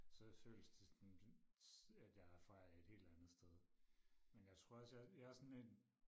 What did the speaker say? så føles det sådan at jeg er fra et helt andet sted men jeg tror også jeg er også sådan en